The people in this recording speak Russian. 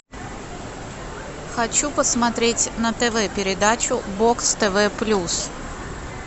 хочу посмотреть на тв передачу бокс тв плюс